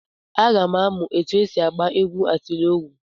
Aga m amụ etu esi agba egwu atilọgwụ.